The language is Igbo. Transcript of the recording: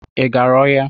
Ị gara ọhịa?